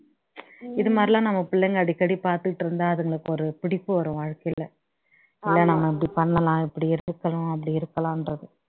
இதுமாதிரி எல்லாம் நம்ம பிள்ளைங்க அடிக்கடி பாத்துகிட்டு இருந்தா அதுங்களுக்கு ஒரு பிடிப்பு வரும் வாழ்க்கையில இல்ல நான் இப்படி பண்னலாம் இப்படி இருக்கலாம் அப்படி இருக்கலான்றது